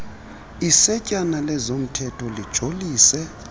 isetyana lezomthetho lijolise